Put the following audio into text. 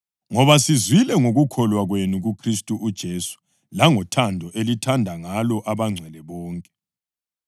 ngoba sizwile ngokukholwa kwenu kuKhristu uJesu langothando elithanda ngalo abangcwele bonke.